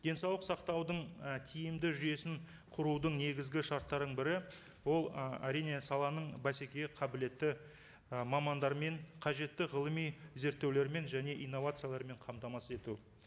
денсаулық сақтаудың і тиімді жүйесін құрудың негізгі шарттарының бірі ол ы әрине саланың бәсекеге қабілетті ы мамандар мен қажетті ғылыми зерттеулер мен және инновациялармен қамтамасыз ету